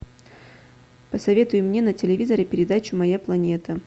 посоветуй мне на телевизоре передачу моя планета